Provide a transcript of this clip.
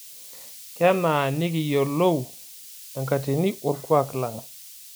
Kenaa nikiyiolou enkatini olkuak lang'